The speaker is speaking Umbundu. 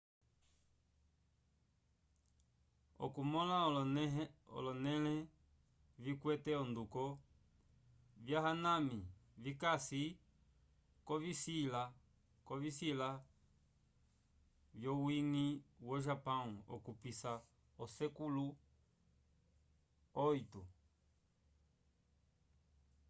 okumõla olonẽleho vikwete onduko vya hanami vikasi k'ovisila vyowiñgi wo-japão okupisa osekulu viii